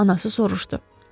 Anası soruşdu.